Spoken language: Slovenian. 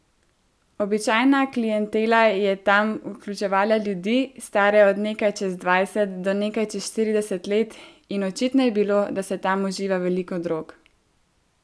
Običajna klientela je tam vključevala ljudi, stare od nekaj čez dvajset do nekaj čez štirideset let, in očitno je bilo, da se tam uživa veliko drog.